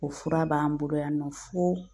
O fura b'an bolo yan nɔ fo